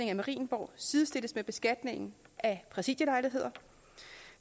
af marienborg sidestilles med beskatningen af præsidielejligheder